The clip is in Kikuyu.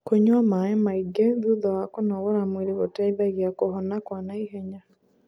kũnyua maĩ maĩ ngi thutha wa kũnogora mwĩrĩ gũteithagia kuhona kwa naihenya